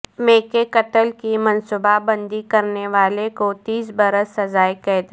مے کے قتل کی منصوبہ بندی کرنے والے کو تیس برس سزائے قید